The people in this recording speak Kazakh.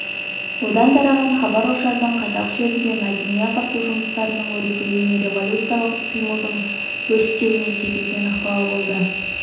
одан тараған хабар-ошардың қазақ жерінде мәдени-ағарту жұмыстарының өрбуіне революциялық іс-қимылдардың өрістеуіне тигізген ықпалы болды